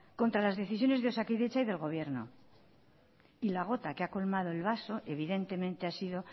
contra las decisiones de osakidetza y del gobierno y la gota que ha colmado el vaso evidentemente ha sido